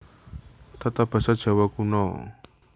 Tatabasa Djawa Kuno